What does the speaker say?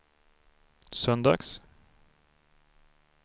söndags